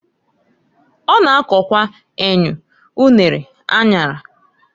O na-akokwa enyu, unere, anyara.